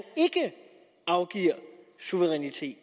afgiver suverænitet